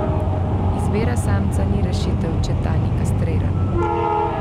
Izbira samca ni rešitev, če ta ni kastriran.